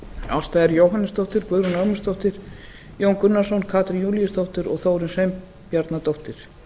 ásta r jóhannesdóttir guðrún ögmundsdóttir jón gunnarsson katrín júlíusdóttir og þórunn sveinbjarnardóttir